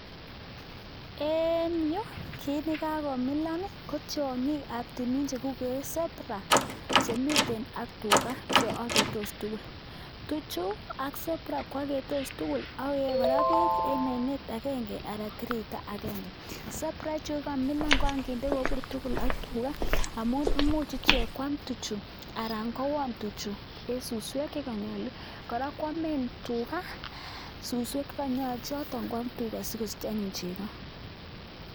En yu kit nekakomilan i kotiongiik ab timiin che kikuuren zebra chemiten ak tugaa cheoketoos tuguul. Tichu ak zebra ko aketoos tugul ak koyee kora beek en oinet agenge anan tiritaa agenge. Zebra ichueko kamilan kan kindee kobur tugul ak tugaa amun imuchichek kwam tuchu anan kowon tuchu en suswek che konyolu .Kora koamen tugaa suswek che konyolu kwam tugaa chotok sikosich anyun chegoo.